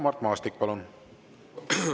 Mart Maastik, palun!